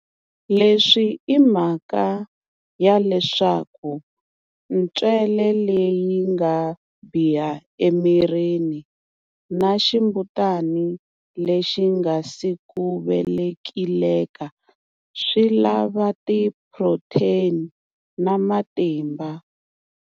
Leswi i mhaka ya leswaku ntswele leyi nga biha emirini na ximbutana lexi nga si ku velekileka swi lava tiphuroteni na matimba.